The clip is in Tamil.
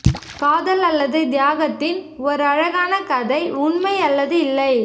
காதல் அல்லது தியாகத்தின் ஒரு அழகான கதை உண்மை அல்லது இல்லை